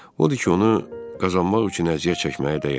Odur ki, onu qazanmaq üçün əziyyət çəkməyə dəyər.